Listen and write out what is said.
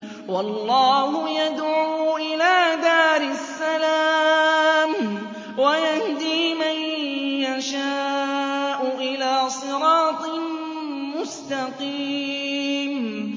وَاللَّهُ يَدْعُو إِلَىٰ دَارِ السَّلَامِ وَيَهْدِي مَن يَشَاءُ إِلَىٰ صِرَاطٍ مُّسْتَقِيمٍ